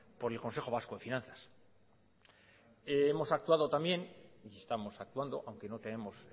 por el consejo vasco de finanzas hemos actuado también y estamos actuando aunque no tenemos